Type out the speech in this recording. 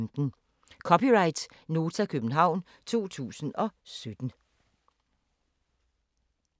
(c) Nota, København 2017